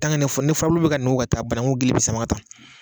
ni fu ni furabulu bɛ ka nugu ka taa bananku gili bɛ sama ka taa